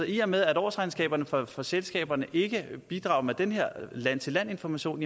i og med at årsregnskaberne for for selskaberne ikke bidrager med den her land til land information